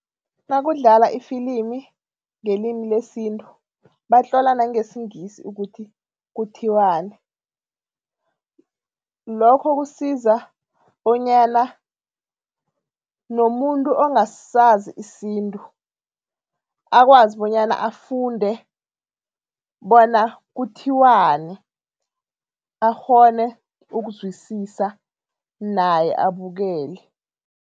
Nakudlala ifilimini ngelimi lesintu, batlola nangesiNgisi ukuthi kuthiwani. Lokho kusiza bonyana nomuntu ongasazi isintu akwazi bonyana afunde bona kuthiwani, akghone ukuzwisisa naye abukele.